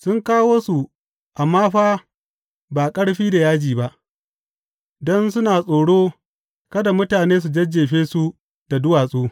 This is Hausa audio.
Sun kawo su amma fa ba ƙarfi da yaji ba, don suna tsoro kada mutane su jajjefe su da duwatsu.